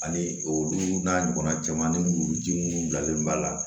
Ani olu n'a ɲɔgɔnna caman ni muluji minnu bilalen b'a la